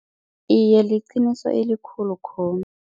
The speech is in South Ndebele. Iye, liqiniso elikhulu